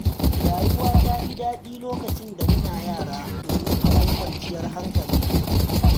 Rayuwa ta fi daɗi lokacin da muna yara, domin akwai kawanciyar hankali